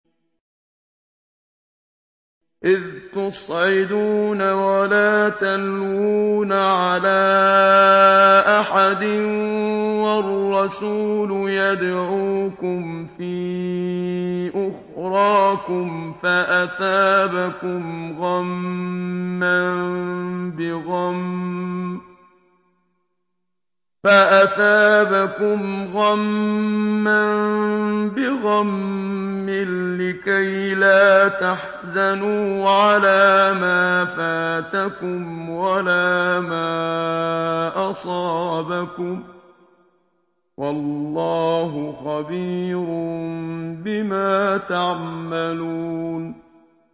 ۞ إِذْ تُصْعِدُونَ وَلَا تَلْوُونَ عَلَىٰ أَحَدٍ وَالرَّسُولُ يَدْعُوكُمْ فِي أُخْرَاكُمْ فَأَثَابَكُمْ غَمًّا بِغَمٍّ لِّكَيْلَا تَحْزَنُوا عَلَىٰ مَا فَاتَكُمْ وَلَا مَا أَصَابَكُمْ ۗ وَاللَّهُ خَبِيرٌ بِمَا تَعْمَلُونَ